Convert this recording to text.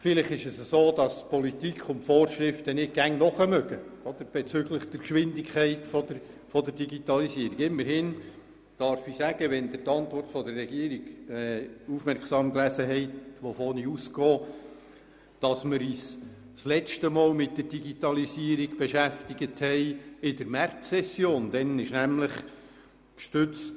Vielleicht können Politik und Vorschriften der Geschwindigkeit der Digitalisierung nicht immer folgen, aber immerhin haben wir uns erst in der letzten Märzsession mit der Digitalisierung beschäftigt, wie der Antwort der Regierung zu entnehmen ist.